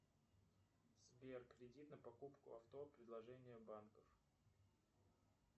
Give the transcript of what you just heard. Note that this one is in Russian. сбер кредит на покупку авто предложения банков